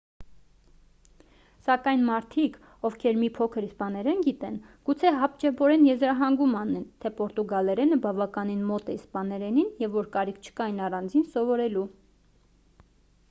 սակայն մարդիկ ովքեր մի փոքր իսպաներեն գիտեն գուցե հապճեպորեն եզրահանգում անեն թե պորտուգալերենը բավականին մոտ է իսպաներենին և որ կարիք չկա այն առանձին սովորելու